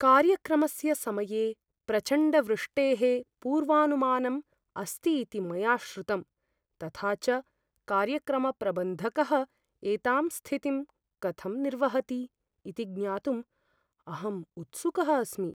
कार्यक्रमस्य समये प्रचण्डवृष्टेः पूर्वानुमानम् अस्ति इति मया श्रुतम्, तथा च कार्यक्रमप्रबन्धकः एतां स्थितिं कथं निर्वहति इति ज्ञातुम् अहम् उत्सुकः अस्मि।